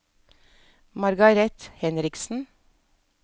Margareth Henriksen